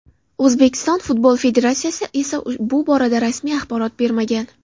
O‘zbekiston futbol federatsiyasi esa bu borada rasmiy axborot bermagan.